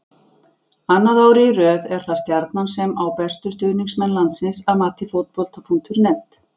Annað árið í röð er það Stjarnan sem á bestu stuðningsmenn landsins að mati Fótbolta.net.